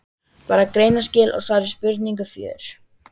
Bara greinaskil og svar við spurningu fjögur.